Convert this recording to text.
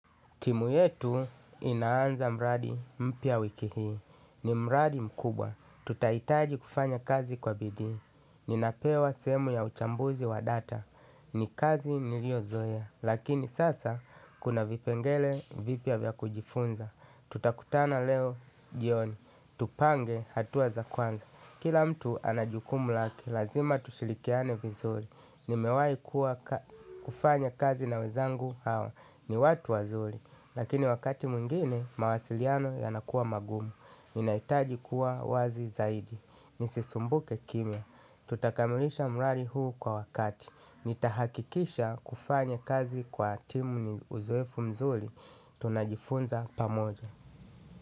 Timu yetu inaanza mradi mpya wiki hii. Ni mraadi mkubwa. Tutahitaji kufanya kazi kwa bidii. Ninapewa sehemu ya uchambuzi wa data. Ni kazi niliozoea. Lakini sasa kuna vipengele vipya vya kujifunza. Tutakutana leo jioni. Tupange hatua za kwanza. Kila mtu ana jukumu lake. Lazima tushirikiane vizuri. Nimewahi kufanya kazi na wenzangu hawa. Ni watu wazuri. Lakini wakati mwengine mawasiliano yanakuwa magumu. Inahitaji kuwa wazi zaidi. Nisisumbuke kimya. Tutakamilisha mradi huu kwa wakati. Nitahakikisha kufanya kazi kwa timu ni uzoefu mzuri. Tunajifunza pamoja.